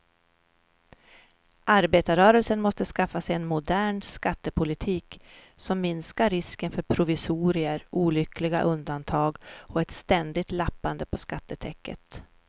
Arbetarrörelsen måste skaffa sig en modern skattepolitik som minskar risken för provisorier, olyckliga undantag och ett ständigt lappande på skattetäcket.